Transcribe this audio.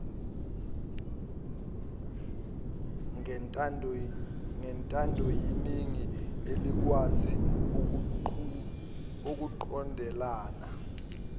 ngentandoyeningi elikwazi ukuqhudelana